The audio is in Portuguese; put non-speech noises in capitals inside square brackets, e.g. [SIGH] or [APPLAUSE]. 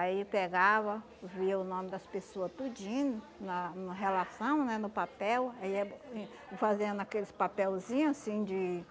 Aí pegava, via o nome das pessoa tudinho, na na relação, né, no papel, aí ia [UNINTELLIGIBLE] fazendo aqueles papelzinho assim de